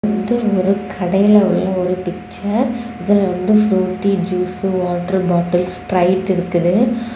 இது ஒரு கடையில உள்ள ஒரு பிக்சர் இதுல வந்து Frooti juice water bottles Sprite இருக்குது.